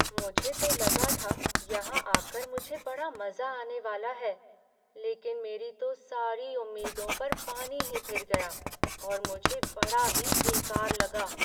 मुझे तो लगा था यहां आकर मुझे बड़ा मज़ा आने वाला है, लेकिन मेरी तो सारी उम्मीदों पर पानी ही फिर गया और मुझे बड़ा ही बेकार लगा।